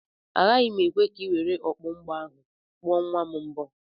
Agaghị m ekwe ka i were okpu mgbo ahụ kpuo nwa m mbo.